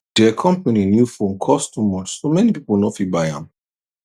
de company new phone cost too much so many people no fit buy am